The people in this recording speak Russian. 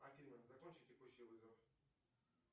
афина закончи текущий вызов